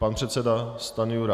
Pan předseda Stanjura.